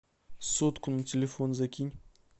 сотку на телефон закинь